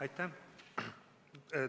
Aitäh!